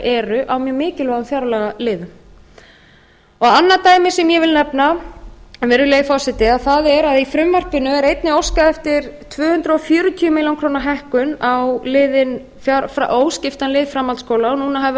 eru á mjög mikilvægum fjárlagaliðum annað dæmi sem ég vil nefna virðulegi forseti er að í frumvarpinu er einnig óskað eftir tvö hundruð fjörutíu milljónir króna hækkun á óskiptan lið framhaldsskóla og núna hefur